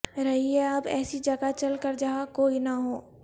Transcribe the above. رہیے اب ایسی جگہ چل کر جہاں کوئی نہ ہو